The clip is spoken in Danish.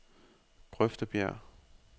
Grøftebjerg